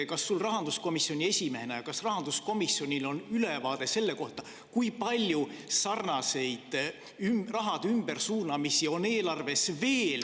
Kas sul rahanduskomisjoni esimehena ja kas rahanduskomisjonil on ülevaade sellest, kui palju sarnaseid raha ümbersuunamisi on eelarves veel …